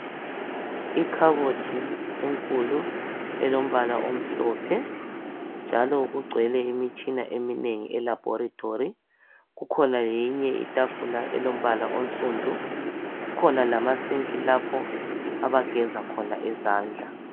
ikhabothi enkulu elombala omhlophe njalo kugcwele imitshina eminengi e laboratory kukhona leyinye itafula elombala onsundu kukhona lama sinki lapho abageza khona izandla